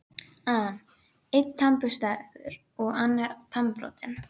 an: Einn tannburstaður og annar tannbrotinn.